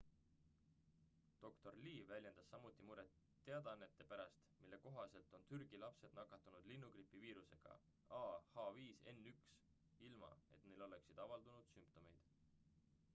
dr lee väljendas samuti muret teadannete pärast mille kohaselt on türgi lapsed nakatunud linnugripi viirusega ah5n1 ilma et neil oleks avaldunud sümptomeid